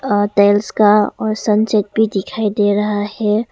का और संचित भी दिखाई दे रहा है।